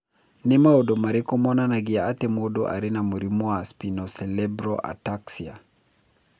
Nĩ maũndũ marĩkũ monanagia atĩ mũndũ arĩ na mũrimũ wa Spinocerebellar ataxia?